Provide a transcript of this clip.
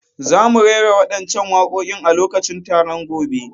Za mu rera waɗancan waƙoƙin a lokacin taron gobe.